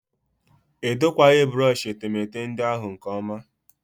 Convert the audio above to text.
Edokwaghị brọshị etemeete ndị ahụ nke ọma